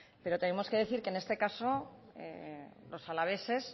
pero tenemos que decir que en este caso los alaveses